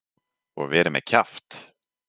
Og verið með kjaft.